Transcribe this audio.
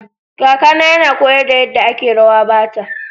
Kakana yana koyar da yadda ake rawa Bata.